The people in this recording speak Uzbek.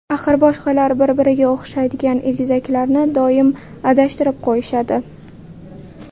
Axir boshqalar bir-biriga o‘xshaydigan egizaklarni doim adashtirib qo‘yishadi.